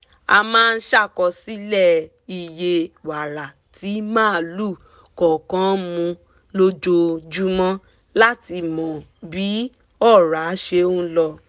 a máa ṣàkọsílẹ̀ iye wàrà tí màlúù kọ̀ọ̀kan mu lójoojúmọ́ láti mọ bí ọ̀rá ṣe lọ